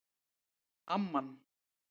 Amman